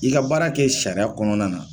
I ka baara kɛ sariya kɔnɔna na.